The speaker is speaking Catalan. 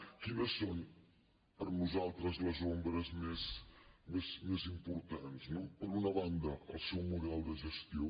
quines són per nosaltres les ombres més importants no per una banda el seu model de gestió